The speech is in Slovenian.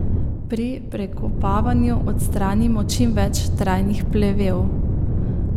Pri prekopavanju odstranimo čim več trajnih plevelov.